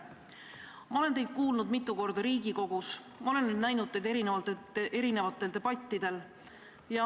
Ma olen teid kuulnud Riigikogus mitu korda, ma olen näinud teid erinevatel debattidel.